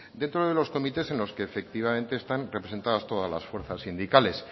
dentro de los comités en los que efectivamente están representadas todas las fuerzas sindicales